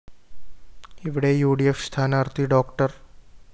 ഇവിടെ U D F സ്ഥാനാര്‍ത്ഥി ഡോ